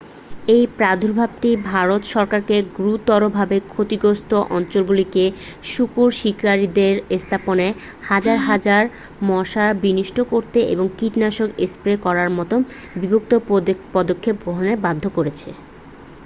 এই প্রাদুর্ভাবটি ভারত সরকারকে গুরুতরভাবে ক্ষতিগ্রস্থ অঞ্চলগুলিতে শূকর শিকারিদের স্থাপনে হাজার হাজার মশার বিনষ্ট করতে এবং কীটনাশক স্প্রে করার মতো বিভিন্ন পদক্ষেপ গ্রহণে বাধ্য করেছে